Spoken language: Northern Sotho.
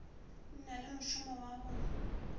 na le mošomo wa go